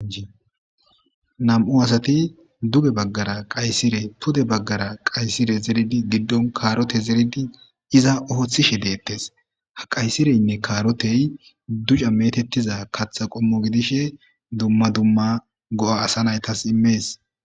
inam7u asati duge baggara qaysire pude baggara qaysire zeridi giddon kaarote zeridi iza ooththishe deettes ha qaysireynne kaarotey duca metettiza katha qommo gidishe dumma dumma go7a asa naytas immees